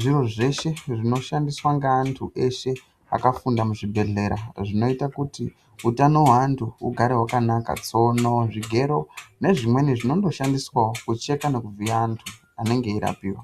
zviro zveshe zvinoshandiswa ngeantu eshe akafunda muzvibhedhleya zvinoite kuti utano hwevantu hugare hwakanaka, tsono zvigero nezvimweni zvinondodhandiswawo kucheka nekuvhiya antu anenge eirapiwa.